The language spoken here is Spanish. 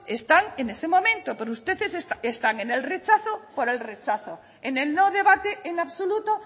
están en este momento pero ustedes están en el rechazo por el rechazo en el no debate en absoluto